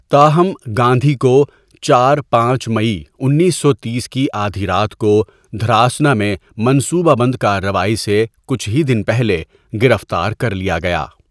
تاہم، گاندھی کو چار ۔ پانچ مئی انیس سو تیس کی آدھی رات کو، دھراسنا میں منصوبہ بند کارروائی سے کچھ ہی دن پہلے، گرفتار کر لیا گیا۔